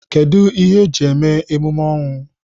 Kedụ ihe eji eme emume ọnwụ?